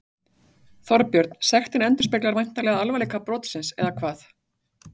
Þorbjörn, sektin endurspeglar væntanlega alvarleika brotsins, eða hvað?